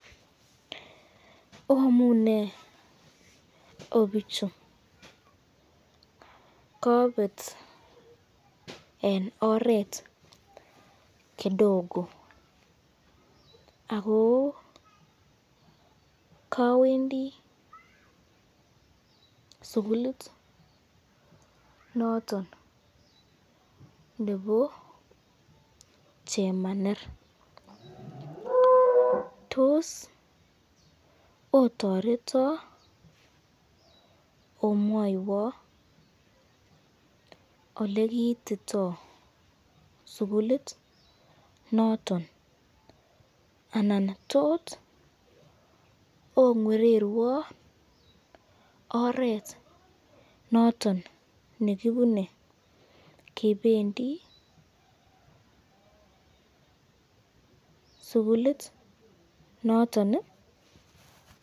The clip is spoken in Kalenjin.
Oamune o bichu, kabet eng oret kidogo ako kawendi sukulit noton nebo chemaner, tos otoreta omwaywa olekiitito sukulit noton anan tot ongeererwan oret noton kibine kebendi sukulit noton ii.